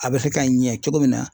A bɛ se ka ɲɛ cogo min na